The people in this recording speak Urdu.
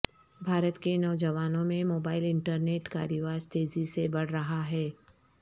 بھارت کے نوجوانوں میں موبائل انٹرنیٹ کا رواج تیزی سے بڑھ رہا ہے